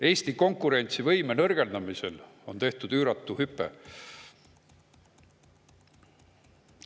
Eesti konkurentsivõime nõrgendamisel on tehtud üüratu hüpe.